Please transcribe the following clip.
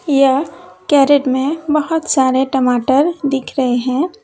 यह कैरेट में बहोत सारे टमाटर दिख रहे हैं।